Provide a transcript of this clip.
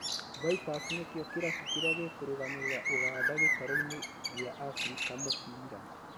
Vipers nĩkĩo kĩrabu kĩrĩa gĩkũrũgamĩrĩra Ũganda gĩtarũ-inĩ gia Afrika mũbira